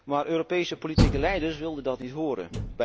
Maar Europese politieke leiders wilden dat niet horen.